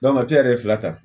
yɛrɛ fila ta